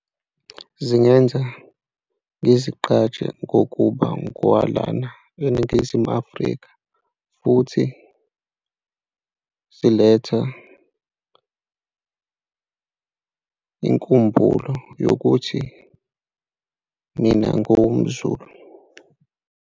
Zingenza ngizigqaje ngokuba ngowalana eNingizimu Afrika futhi ziletha inkumbulo yokuthi mina ngiwumZulu.